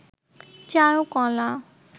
চারুকলা